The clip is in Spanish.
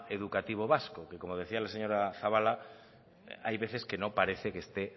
educativo vasco que como decía la señora zabala hay veces que no parece que esté